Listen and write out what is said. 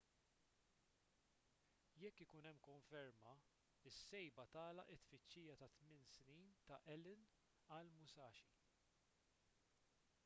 jekk ikun hemm konferma is-sejba tagħlaq it-tfittxija ta' tmien snin ta' allen għall-musashi